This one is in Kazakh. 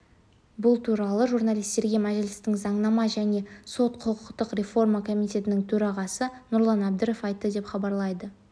бұл туралы журналистерге мәжілістің заңнама және сот-құқықтық реформа комитетінің төрағасы нұрлан әбдіров айтты деп хабарлайды